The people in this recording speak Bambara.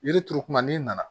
Yiri turu kuma n'i nana